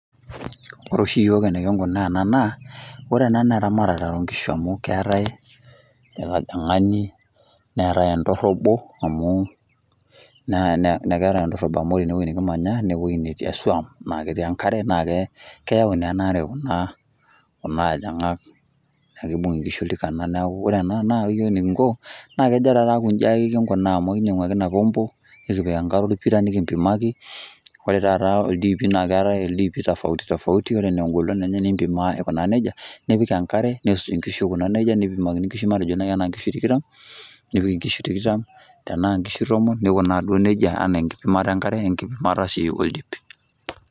Kore oshi iyiok eniking'unaa ena naa kore ena naa eramatare o nkishu amu keetai enkathang'ani, neetai entorobo, amu ena neetai entorobo amu ene ore ene wuei nekimanya nee ewuei netii esuam naake eti enkare naake keyau naa ena are kuna athong'ak naake ibung' nkishu oltikana neeku ore ena naa ore iyiok eneking'o naa kejo taake inji king'unaa amu kinyang'u ake ina pombo nekipik enkare orpira nekimpimaki, ore taa ildiipi naake eetai ildipi tofauti tofauti, ore nee eng'olon enye nimpimaa aikunaa neija, nipik enkare, nisuj nkishu aikunaa neja nipimakini nkishu matejo nai ena nkishu tikitam nipik nkishu tikitam, tenaa nkishu tomon nikunaa duo neija enaa enkiimata enkare we enkipimata sii oldip.